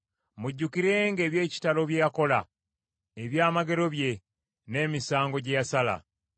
Mujjukirenga eby’ekitalo bye yakola, ebyamagero bye, n’emisango gye yasala;